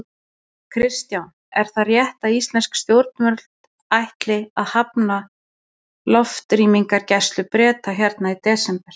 Kristján: Er það rétt að íslensk stjórnvöld ætli að hafna loftrýmisgæslu Breta hérna í desember?